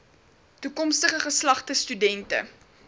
toekomstige geslagte studente